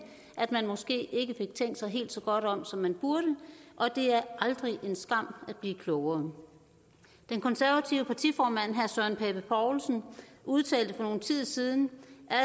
at man måske ikke fik tænkt sig helt så godt om som man burde og det er aldrig en skam at blive klogere de konservatives partiformand herre søren pape poulsen udtalte for nogen tid siden